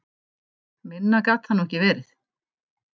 Minna gat það nú ekki verið.